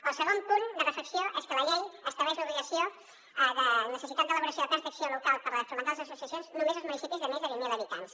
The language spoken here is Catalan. el segon punt de reflexió és que la llei estableix l’obligació de necessitat d’elaboració de plans d’acció local per fomentar les associacions només als municipis de més de vint mil habitants